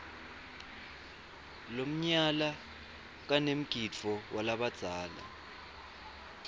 lomnyala kanemgidvo walabadzala